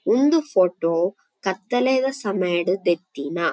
ಇಂದು ಫೋಟೊ ಕತ್ತಲೆದ ಸಮಯಡ್ ದೆತ್ತಿನ--